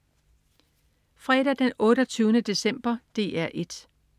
Fredag den 28. december - DR 1: